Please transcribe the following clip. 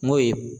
N'o ye